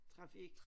Trafik